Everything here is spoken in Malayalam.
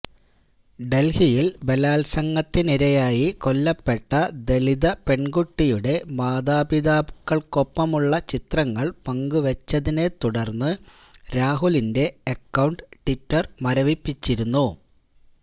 ഡൽഹിയിൽ ബലാത്സംഗത്തിനിരയായി കൊല്ലപ്പെട്ട ദലിത പെൺകുട്ടിയുടെ മാതാപിതാക്കൾക്കൊപ്പമുള്ള ചിത്രങ്ങൾ പങ്കുവെച്ചതിനെ തുടർന്ന് രാഹുലിന്റെ അക്കൌണ്ട് ട്വിറ്റർ മരവിപ്പിച്ചിരുന്നു